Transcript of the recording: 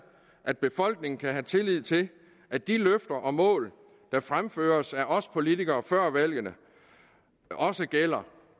at befolkningen kan have tillid til at de løfter og mål der fremføres af os politikere før valgene også gælder